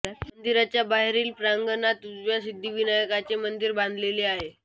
मंदिराच्या बाहेरील प्रांगणात उजव्या सिद्धिविनायकाचे मंदिर बांधलेले आहे